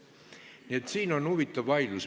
Nii et siin on huvitav vaidlus.